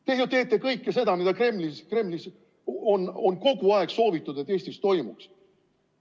Te ju teete kõike seda, mida Kremlis on kogu aeg soovitud, et Eestis toimuks.